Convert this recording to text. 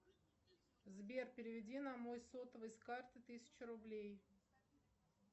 сбер переведи на мой сотовый с карты тысячу рублей